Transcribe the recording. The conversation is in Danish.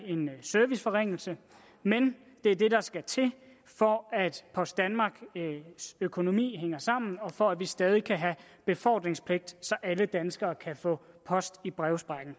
en serviceforringelse men det er det der skal til for at post danmarks økonomi hænger sammen og for at vi stadig væk kan have befordringspligt så alle danskere kan få post i brevsprækken